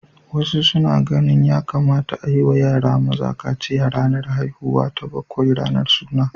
Wasu suna ganin ya kamata a yi wa yara maza kaciya a ranar haihuwa ta bakwai, ranar suna.